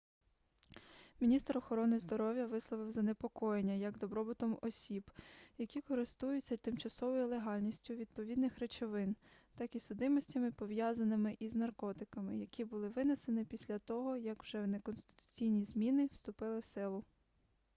міністр охорони здоров'я висловив занепокоєння як добробутом осіб які користуються тимчасовою легальністю відповідних речовин так і судимостями пов'язаними із наркотиками які було винесено після того як вже неконституційні зміни вступили в силу